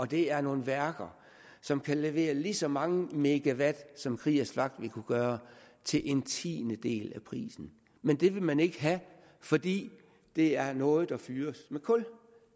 det er nogle værker som kan levere lige så mange megawatt som kriegers flak vil kunne gøre til en tiendedel af prisen men det vil man ikke have fordi det er noget der fyres med kul